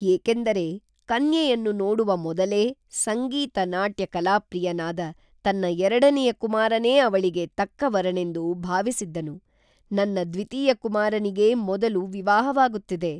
ಏಕೇಂದರೆ ಕನ್ಯೆಯನ್ನು ನೋಡುವ ಮೊದಲೇ ಸಂಗೀತ ನಾಟ್ಯ ಕಲಾಪ್ರಿಯನಾದ ತನ್ನ ಎರಡನೆಯ ಕುಮಾರನೇ ಅವಳಿಗೇ ತಕ್ಕ ವರನೆಂದು ಭಾವಿಸಿದ್ದನು ನನ್ನ ದ್ವಿತೀಯ ಕುಮಾರನಿಗೇ ಮೊದಲು ವಿವಾಹವಾಗುತ್ತಿದೆ